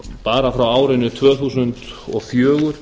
bara frá árinu tvö þúsund og fjögur